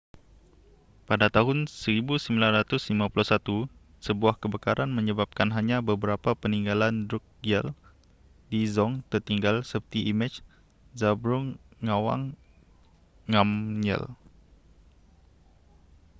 pada tahun 1951 sebuah kebakaran menyebabkan hanya beberapa peninggalan drukgyal dzong tertinggal seperti imej zhabdrung ngawang namgyal